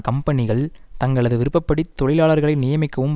கம்பெனிகள் தங்களது விருப்ப படி தொழிலாளர்களை நியமிக்கவும்